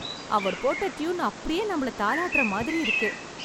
அவர் போட்ட டியூன் அப்படியே நம்மள தாலாட்டுற மாதிரி இருக்கு